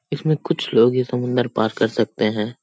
इसमें कुछ लोग ही समुंदर पार कर सकते हैं।